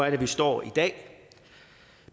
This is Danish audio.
er vi står i dag